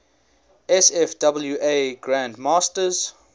sfwa grand masters